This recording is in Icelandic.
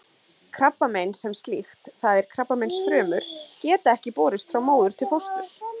Krabbamein sem slíkt, það er krabbameinsfrumur, geta ekki borist frá móður til fósturs.